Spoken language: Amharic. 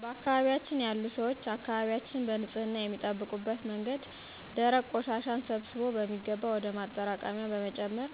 በአካባቢያችን ያሉ ሰዎች አካባቢያችንን በንፅህና የሚጠብቁበት መንገድ ደረቅ ቆሻሻን ሰብስቦ በሚገባ ወደ ማጠራቀሚያ በመጨመር